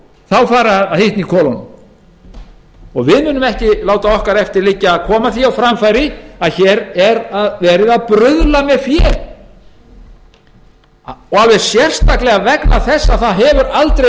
landinu fari að hitna í kolunum við munum ekki láta okkar eftir liggja að koma því á framfæri að hér er verið að bruðla með fé alveg sérstaklega vegna þess að það hefur aldrei